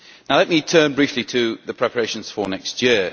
Let me turn briefly to the preparations for next year.